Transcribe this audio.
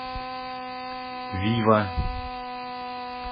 вива